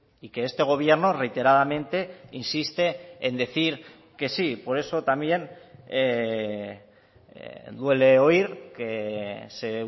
y que este gobierno reiteradamente insiste en decir que sí por eso también duele oír que se